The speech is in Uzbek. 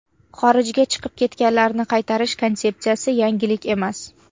Xorijga chiqib ketganlarni qaytarish konsepsiyasi – yangilik emas.